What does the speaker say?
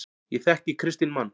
Ég þekki kristinn mann.